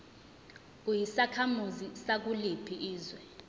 uyisakhamuzi sakuliphi izwe